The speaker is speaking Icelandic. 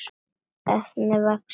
efni vaxið.